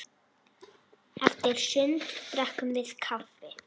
Eftir sund drekkum við kaffi.